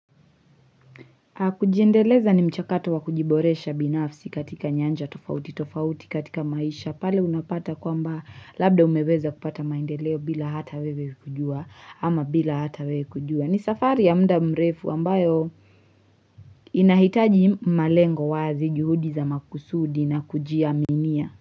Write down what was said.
Kujiendeleza ni mchakato wa kujiboresha binafsi katika nyanja tofauti tofauti katika maisha pale unapata kwamba labda umeweza kupata maendeleo bila hata wewe kujua ama bila hata wewe kujua. Ni safari ya mda mrefu ambayo inahitaji malengo wazi juhudi za makusudi na kujiaminia.